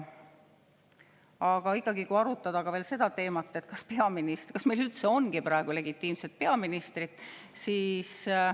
Aga ikkagi, arutame veel seda teemat, kas meil üldse ongi praegu legitiimset peaministrit.